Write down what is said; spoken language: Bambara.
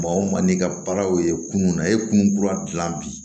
Maa o maa n'i ka baaraw ye kunun na e ye kunun kura dilan bi